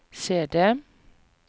CD